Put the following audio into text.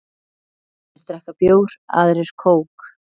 Sumir drekka bjór, aðrir kók.